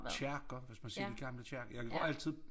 Kirker hvis man ser de gamle kirker jeg går altid